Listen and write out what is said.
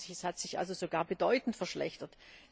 94. Es hat sich also sogar bedeutend verschlechtert.